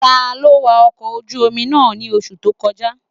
Taló wa ọkọ̀ ojú-omi náà ní oṣù tó kọjá?